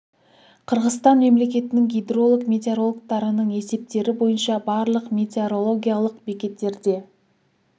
қырғызстан мемлекетінің гидролог-метеорологтарының есептері бойынша барлық метеорологиялық бекеттерде